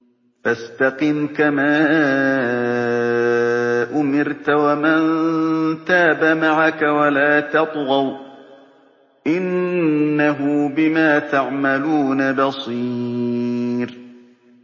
فَاسْتَقِمْ كَمَا أُمِرْتَ وَمَن تَابَ مَعَكَ وَلَا تَطْغَوْا ۚ إِنَّهُ بِمَا تَعْمَلُونَ بَصِيرٌ